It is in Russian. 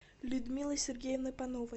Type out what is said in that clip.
людмилой сергеевной пановой